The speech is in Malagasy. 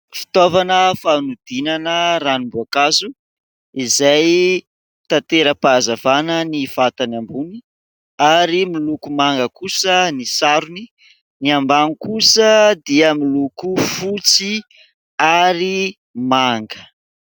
Fitaovana fanodinana ranom-boankazo izay tantera-pahazavana ny vatany ambony ary miloko manga kosa ny sarony ; ny ambany kosa dia miloko fotsy ary manga.